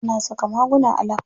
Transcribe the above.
Ana saka maguna a lab.